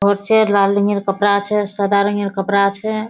घर छै लाल रंग यार कपड़ा छै सादा रंग यार कपड़ा छै।